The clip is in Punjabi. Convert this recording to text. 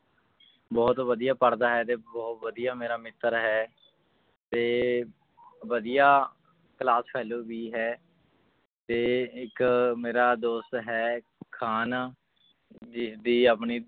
ਬਹੁਤ ਵਧੀਆ ਪੜ੍ਹਦਾ ਹੈ ਤੇ ਬਹੁਤ ਵਧੀਆ ਮੇਰਾ ਮਿੱਤਰ ਹੈ ਤੇ ਵਧੀਆ class fellow ਵੀ ਹੈ ਤੇ ਇੱਕ ਮੇਰਾ ਦੋਸਤ ਹੈ ਖਾਨ ਜਿਸਦੀ ਆਪਣੀ